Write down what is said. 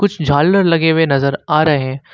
झालर लगे हुए नजर आ रहे--